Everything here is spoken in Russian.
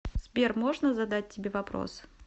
сбер можно задать тебе вопрос